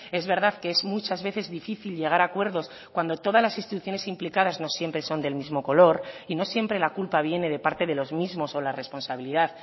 es verdad que es muchas veces difícil llegar a acuerdos cuando todas las instituciones implicadas no siempre son del mismo color y no siempre la culpa viene de parte de los mismos o la responsabilidad